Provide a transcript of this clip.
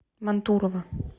мантурово